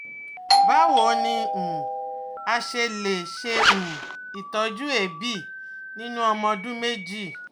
Báwo ni um a ṣe lè ṣe um itọju eebi ninu ọmọ ọdún méjì?